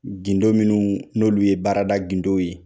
gindo minnu n'olu ye baarada gindow ye